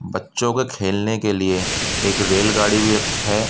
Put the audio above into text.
बच्‍चों के खेलने के लिए एक रेलगाड़ी भी है।